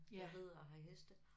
Jeg rider og har heste